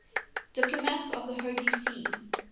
diplomats of the holy see